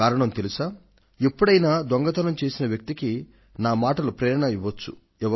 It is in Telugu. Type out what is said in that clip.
కారణం తెలుసా ఎప్పుడైనా దొంగతనం చేసిన వ్యక్తికి నా మాటలు ప్రేరణ ఇవ్వవచ్చు